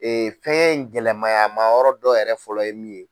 fɛngɛ in gɛlɛmaya mayɔrɔ dɔ yɛrɛ fɔlɔ ye min ye.